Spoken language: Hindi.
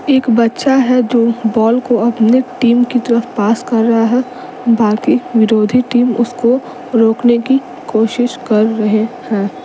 एक बच्चा है जो बॉल को अपने टीम की तरफ पास कर रहा है बाकी विरोधी टीम उसको रोकने की कोशिश कर रहे हैं।